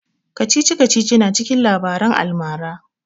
Kacici-kacici na cikin labaran almara